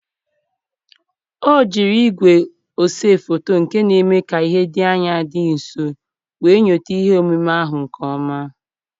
O jiri igwe ose foto nke n'eme ka ihe dị anya dị nso wee nyota ihe omume ahụ nke ọma.